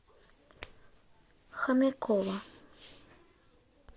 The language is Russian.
хомякова